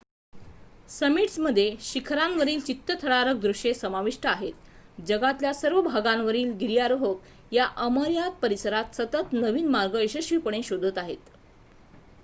समिट्समध्ये शिखरांवरील चित्तथरारक दृश्ये समाविष्ट आहेत जगातल्या सर्व भागांवरील गिर्यारोहक या अमर्याद परिसरात सतत नवीन मार्ग यशस्वीपणे शोधत आहेत